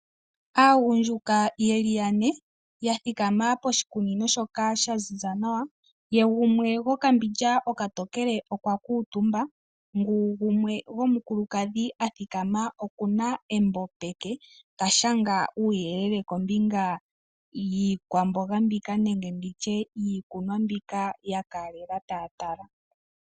Aagundjuka yeli yane ya thikama poshikunino shoka sha ziza nawa , yegumwe gwokambindja okatokele okwa kutumba , ngu gumwe gwomukulukadhi athikama okuna embo peke ta shanga uyelele kombinga yiikwamboga nenge nditye iikunwa mbyoka yakalela taya tala